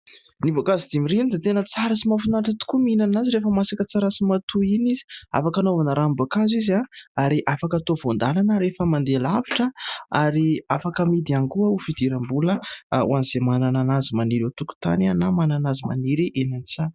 Ny voankazo dimirirana dia tena tsara sy mahafinaritra tokoa mihinana azy rehefa masaka tsara sy matoy iny izy. Afaka anaovana ranom-boankazo izy ary afaka hatao voan-dalana rehefa mandeha lavitra ary afaka amidy ihany koa ho fidiram-bola ho amin'izay manana an'azy maniry eo tokotany na manana azy maniry eny an-tsaha.